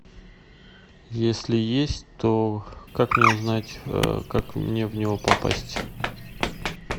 если есть то как мне узнать как мне в него попасть